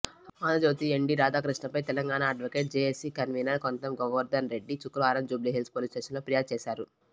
Andhra Jyothi MD రాధాకృష్ణపై Telangana advocate JAC convener Kontham Govardhan Reddy శుక్రవారం Jubilee Hills police స్టేషన్లో ఫిర్యాదు చేశారు